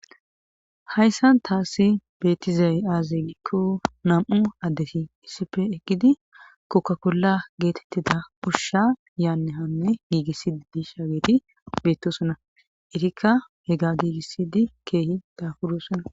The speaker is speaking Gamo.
hayssan taasi beettizay aazeikko nam7u addesi issife ekidi kokkakolla geetettida ushsha yaannehanne giigissidi di sha weeti beettosona itikka he ga giigissidi keehi dafudosona